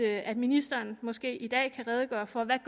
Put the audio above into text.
at ministeren måske i dag kan redegøre for hvad